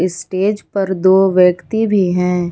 Stage पर दो व्यक्ति भी हैं।